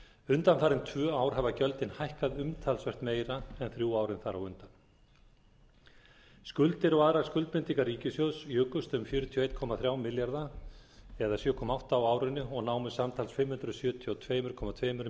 undanfarin tvö ár hafa gjöldin hækkað umtalsvert meira en þrjú árin þar á undan skuldir og aðrar skuldbindingar ríkissjóðs jukust um fjörutíu og einn komma þrjá milljarða króna á árinu og námu samtals fimm hundruð sjötíu og tvö komma tveimur